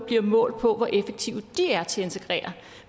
målt på hvor effektive de er til at integrere